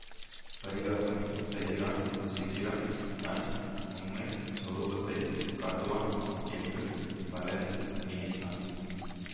பரிகாசம் செய்கிறான் சீக்கிரம் தன் உண்மை சொரூபத்தைக் காட்டுவான் என்று பழனி நினைத்தான்